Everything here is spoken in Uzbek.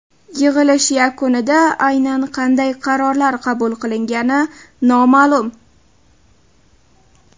Yig‘ilish yakunida aynan qanday qaror qabul qilingani noma’lum.